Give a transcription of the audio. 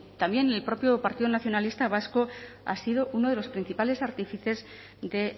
también el propio partido nacionalista vasco ha sido uno de los principales artífices de